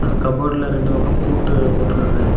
கபோர்டுல ரெண்டு பக்கம் பூட்டு போட்ருக்காங்க.